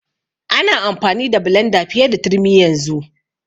Ana amfani da blenda fiye da turmi yanzu.